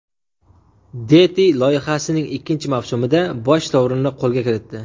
Deti” loyihasining ikkinchi mavsumida bosh sovrinni qo‘lga kiritdi .